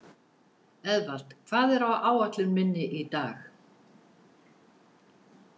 Eðvald, hvað er á áætlun minni í dag?